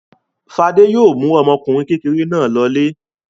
Fade yóò mú ọmọkùnrin kékeré náà lọlé.